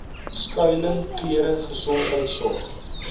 skuiling klere gesondheidsorg